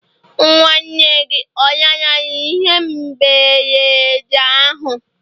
Nwa nwanne gị ọ lanarịrị ihe mberede ahụ?